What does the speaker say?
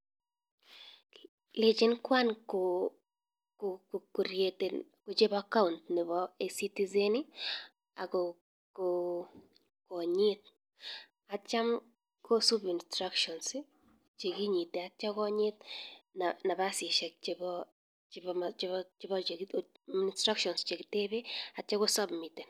Lechin kwan kochop account nepo ecitizen akonyit atya kosup instructions chekinyitee atya konyit nafasisiek chepo instructions che kitepee atya ko submiten